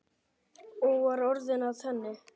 Og var orðið að henni?